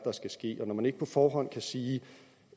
så skal ske når man ikke på forhånd kan sige